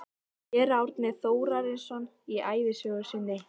Séra Árni Þórarinsson í ævisögu sinni